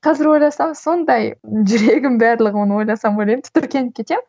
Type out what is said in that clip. қазір ойласам сондай жүрегім барлығы оны ойласам ойлаймын тітіркеніп кетемін